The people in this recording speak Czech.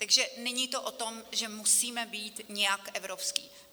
Takže není to o tom, že musíme být nějak evropští.